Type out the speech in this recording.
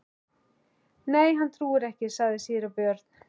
Nei, hann trúir ekki, sagði síra Björn.